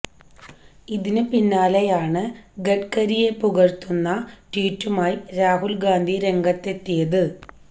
ഇതിന് പിന്നാലെയാണ് ഗഡ്കരിയെ പുകഴ്ത്തുന്ന ട്വീറ്റുമായി രാഹുൽ ഗാന്ധി രംഗത്തെത്തിയത്